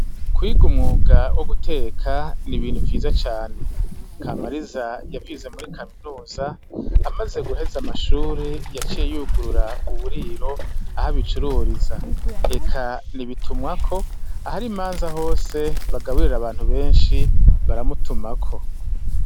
Kwiga umwuga wo guteka ni ibintu vyiza cane. Kamariza yavyize muri kaminuza, amaze guheza amashure yacite yugurura uburiro, aho abicururiza. Eka ni bitumwako, ahar imanza hose bagaburira abantu benshi baramutumako.